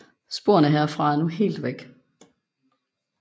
Sporene herfra er nu helt væk